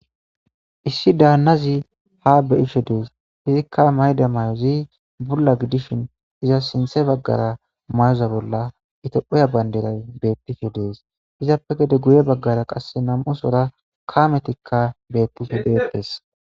issi daannazi ha be7hishe dees izikka mayda may7ozi bulla gidishin iza sinthe baggara mayoza bolla itophoya banderay bettishhe dees izappe gede guye baggara qass namusora kaametikka bettife beeptes